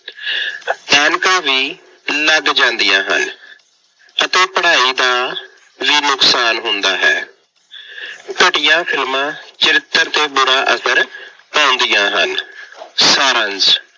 ਐਨਕਾਂ ਵੀ ਲੱਗ ਜਾਂਦੀਆ ਹਨ ਅਤੇ ਪੜ੍ਹਾਈ ਦਾ ਵੀ ਨੁਕਸਾਨ ਹੁੰਦਾ ਹੈ। ਘਟੀਆ ਫਿਲਮਾਂ ਚਰਿੱਤਰ ਤੇ ਬੁਰਾ ਅਸਰ ਪਾਉਂਦੀਆਂ ਹਨ। ਸਾਰ ਅੰਸ਼-